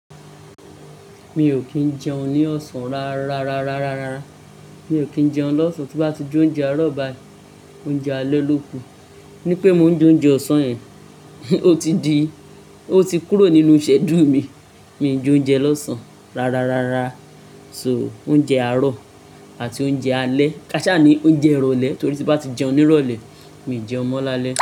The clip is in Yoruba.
Mi ò kí ń jẹun ní ọ̀sán ra-ra-ra-ra-ra-ra. Mi ò kí ń jẹun lọ́sàn tí bá ti jẹ oúnjẹ àárọ̀ ba, oúnjẹ alẹ́ lóku. Nípé mo ń jẹ oúnjẹ ọ̀sán yẹn, ó ti di, ó ti kúrò nínú Ṣẹ́dúù mi. Mi ò njẹ oúnjẹ lọ́sán ra-ra-ra-ra. So oúnjẹ àárọ̀ àti oúnjẹ alẹ́. Kaṣá ni oúnjẹ ìrọ̀lẹ́ torí tí bá ti jẹun ní ìrọ̀lẹ́, mi ò jẹùn mọ́ láalẹ́.